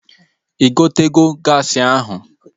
Ị gotego gaasi ahụ?